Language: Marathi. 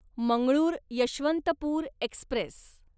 मंगळूर यशवंतपूर एक्स्प्रेस